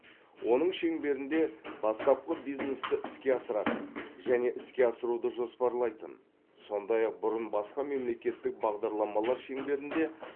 оның шеңберінде бастапқы бизнесті іске асыратын және іске асыруды жоспарлайтын сондай ақ бұрын басқа мемлекеттік бағдарламалар шеңберінде